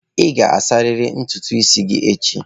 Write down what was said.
Ị ga-asarịrị ntutu isi gị echi.